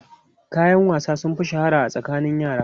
Kayan wasa sun fi shahara a tsakanin yara.